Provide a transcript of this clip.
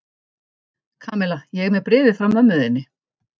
Kamilla, ég er með bréfið frá mömmu þinni.